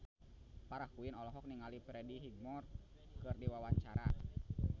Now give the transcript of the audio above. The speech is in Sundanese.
Farah Quinn olohok ningali Freddie Highmore keur diwawancara